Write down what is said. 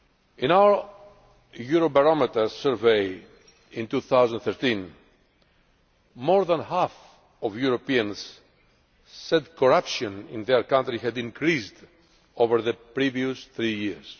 In our Eurobarometer Survey in 2013, more than half of Europeans said corruption in their country had increased over the previous three years.